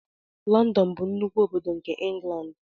London bụ nnukwu obodo nke England.